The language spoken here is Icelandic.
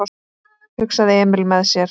hugsaði Emil með sér.